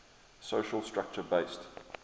social structure based